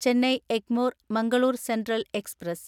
Chennai Egmore Mangaluru central express